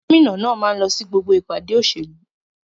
Gómìnà náà máa ń lọ sí gbogbo ìpàdé òṣèlú.